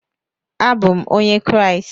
Abụ m Onye Kraịst.